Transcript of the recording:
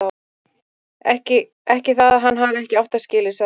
Ekki það að hann hafi ekki átt það skilið, hann Jói.